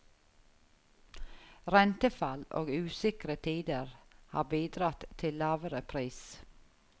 Rentefall og usikre tider har bidratt til lavere pris.